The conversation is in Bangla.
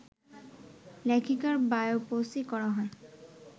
লেখিকার বায়োপসি করা হয়